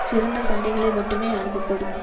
சிறந்த சந்தைகளை மட்டுமே அனுப்பப்படும்